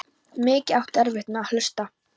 Mikið áttu erfitt með að hlusta.